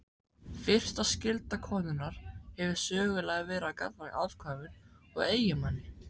Fyrsta skylda konunnar hefur sögulega verið gagnvart afkvæmum og eiginmanni.